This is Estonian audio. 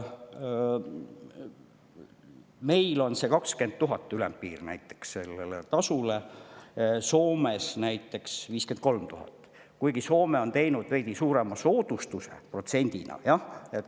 Meil on 20 000 ülempiir sellele tasule, Soomes näiteks 53 000, kuigi Soome on küll teinud protsendina veidi suurema soodustuse.